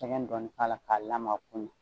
Sɛgɛn dɔnn k'a la k'a lamaga ko ɲan